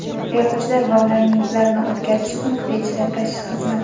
Yo‘lovchilar va ularning yuklarini o‘tkazish punkti ichida tashish xizmati.